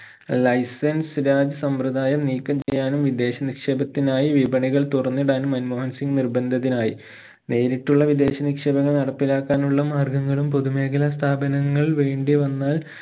license Raj സമ്പ്രദായം നീക്കം ചെയ്യാനും വിദേശ നിക്ഷേപത്തിനായി വിപണികൾ തുറന്നിടാനും മൻമോഹൻ സിംഗ് നിർബന്ധിതനായി. നേരിട്ടുള്ള വിദേശ നിക്ഷേപങ്ങൾ നടപ്പിലാക്കാനുള്ള മാർഗങ്ങളും പൊതു മേഖല സ്ഥാപനങ്ങൾ വേണ്ടിവന്നാൽ